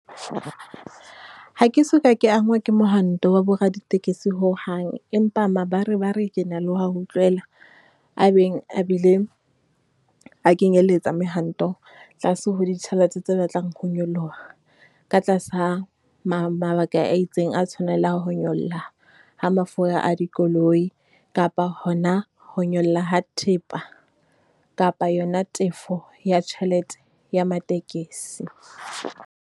Ha ke soka ke angwa ke mohwanto wa boraditekesi hohang. Empa mabarebare ke na le ho wa utlwela a beng a bile, a kenyeletsa mehwanto tlase ho ditjhelete tse batlang ho nyoloha, ka tlasa mabaka a itseng a tshwanelang ho nyolla ha mafura a dikoloi kapa hona ho nyolla ha thepa kapa yona tefo ya tjhelete ya matekesi.